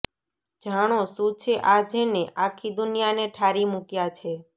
જાણો શું છે આ જેણે આખી દુનિયાને ઠારી મૂક્યા છે